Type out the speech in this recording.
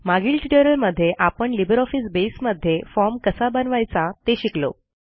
मागील ट्युटोरियलमध्ये आपणLibreOffice बसे मध्ये formकसा बनवायचा ते शिकलो